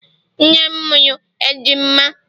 nne m mụrụ ejima.